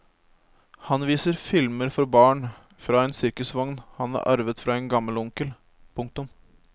Han viser filmer for barn fra en sirkusvogn han har arvet fra en gammel onkel. punktum